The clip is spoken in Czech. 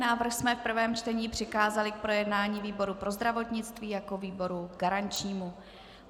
Návrh jsme v prvém čtení přikázali k projednání výboru pro zdravotnictví jako výboru garančnímu.